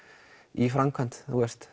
í framkvæmd